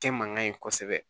Kɛ man ɲi kosɛbɛ